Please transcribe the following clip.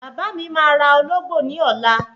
Bàbá mi máa ra Ológbò ní ọ̀la